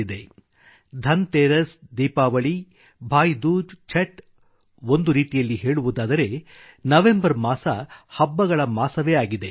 ಧನ್ತೇರಸ್ ಧನಲಕ್ಷ್ಮೀಪೂಜೆ ದೀಪಾವಳಿ ಭಾಯ್ ದೂಜ್ ಛಟ್ ಒಂದು ರೀತಿಯಲ್ಲಿ ಹೇಳುವುದಾದರೆ ನವಂಬರ್ ಮಾಸ ಹಬ್ಬಗಳ ಮಾಸವೇ ಆಗಿದೆ